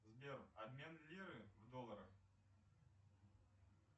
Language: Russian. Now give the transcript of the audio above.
сбер обмен лиры в долларах